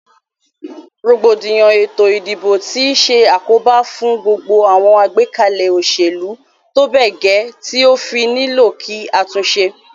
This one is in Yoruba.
Rògbòdìyàn ètò ìdìbò ti se àkóbá fún gbogbo àwon àgbékalè òsèlú tóbè gè ti ó fí nílò kí a túnse